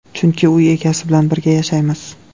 Chunki uy egasi bilan birga yashaymiz.